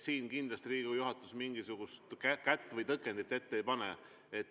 Siin kindlasti Riigikogu juhatus mingisugust kätt või tõkendit ette ei pane.